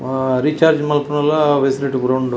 ಆ ರೀಚಾರ್ಜ್ ಮನ್ಪುನಲ ಫೆಸಿಲಿಟಿ ಪೂರ ಉಂಡು.